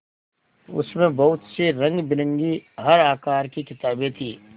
उसमें बहुत सी रंगबिरंगी हर आकार की किताबें थीं